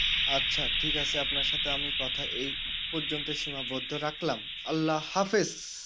আচ্ছা ঠিক আছে আপনার সাথে আমি কথা এই পর্যন্ত সীমাবদ্ধ রাখলাম আল্লা হাফিজ